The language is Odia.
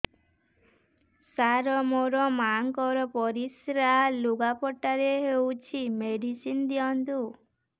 ସାର ମୋର ମାଆଙ୍କର ପରିସ୍ରା ଲୁଗାପଟା ରେ ହଉଚି ମେଡିସିନ ଦିଅନ୍ତୁ